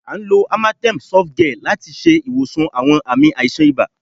À ń lò amatem sof gel láti ṣe ìwòsàn àwọn ààmì àìsàn ibà